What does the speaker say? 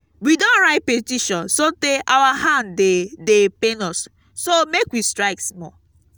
we don write petition so tey our hand dey dey pain us so make we strike small